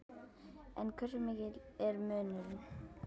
En hversu mikill er munurinn?